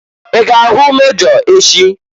I ga-ahụ mejọ echị?